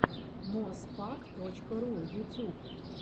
моспак точка ру ютюб